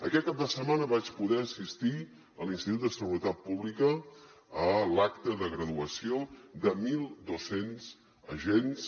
aquest cap de setmana vaig poder assistir a l’institut de seguretat pública a l’acte de graduació de mil dos cents agents